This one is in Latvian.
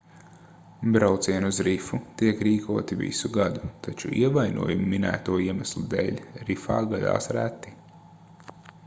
braucieni uz rifu tiek rīkoti visu gadu taču ievainojumi minēto iemeslu dēļ rifā gadās reti